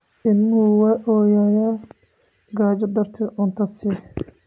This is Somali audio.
Ilmuhu wuu ooyayaa gaajo darteed, cunto sii.